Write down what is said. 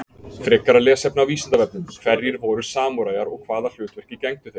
Frekara lesefni á Vísindavefnum: Hverjir voru samúræjar og hvaða hlutverki gegndu þeir?